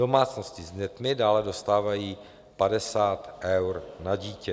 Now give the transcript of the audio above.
Domácnosti s dětmi dále dostávají 50 eur na dítě.